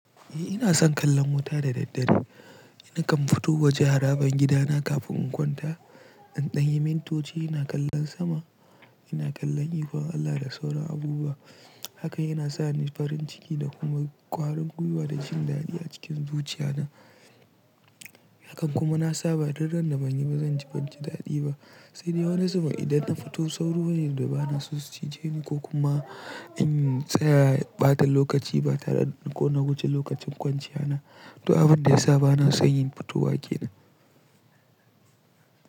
Eh ina son kallon wuta da daddare. Nakan fito waje haraban gida na kafin in kwanta. In danyi mintoci ina kallon sama, ina kallon ikon Allah da sauran abubuwa. Hakan yana sa ni farin ciki da kuma kwarin gwiwa da jin daɗi a cikin zuciya na. Hakan kuma na sa ba daren da ban yi ba zan ji ban ji daɗi ba. Sai dai wani zubin idan na fito sauro ne da ba na so su cije ni ko kuma in tsaya ɓata lokaci ba tare da ko na guje lokacin kwanciya na. To abun da ya sa ba na son yin fitowa ke nan.